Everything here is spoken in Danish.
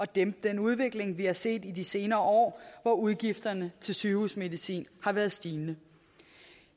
dæmpe den udvikling vi har set i de senere år hvor udgifterne til sygehusmedicin har været stigende